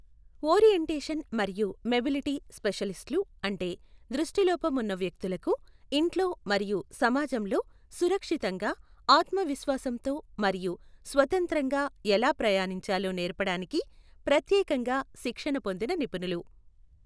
Orientation మరియు mobility స్పెషలిస్ట్లు అంటే దృష్టిలోపం ఉన్న వ్యక్తులకు ఇంట్లో మరియు సమాజంలో సురక్షితంగా, ఆత్మవిశ్వాసంతో మరియు స్వతంత్రంగా ఎలా ప్రయాణించాలో నేర్పడానికి ప్రత్యేకంగా శిక్షణ పొందిన నిపుణులు.